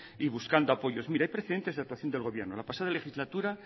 y buscando apoyos mire hay precedentes de actuación del gobierno en la pasada legislatura